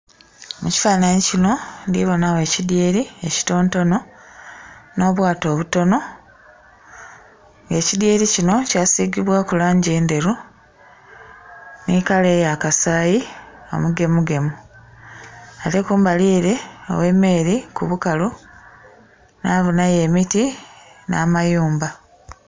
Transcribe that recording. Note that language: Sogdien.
Mukifananhi kinho ndhi bonhagho ekidhyeri ekitontonho nho bwato obutonho, ekidhyeri kinho kya sigibwaku lamgi endheru nhi kala eya saayi engemu gemu, nhi kumbali ere ghe meri ku bukalu ndhibonhayo emiti nha mayumba.